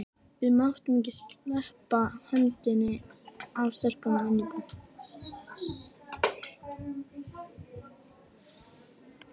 Við máttum ekki sleppa hendinni af stelpunni inni í búðum.